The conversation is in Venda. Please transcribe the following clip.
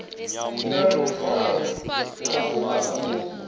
na luvalo a sa ofhi